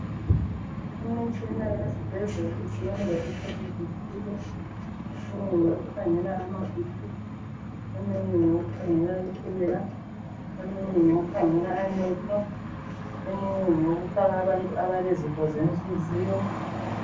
Imitshina yesibhedlela isebenza entweni ezithile. Eminye ngeyokukhangela amaBP, itshukela, amehlo kanye lokufaka abantu abalezifo zenhliziyo.